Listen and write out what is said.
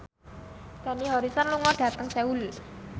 Dani Harrison lunga dhateng Seoul